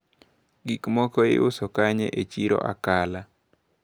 Gikmoko iuso kanye e chiro Akala?